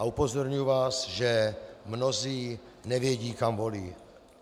A upozorňuji vás, že mnozí nevědí, kam volí.